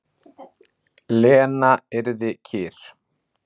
Lena yrði kyrr.